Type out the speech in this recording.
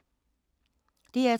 DR2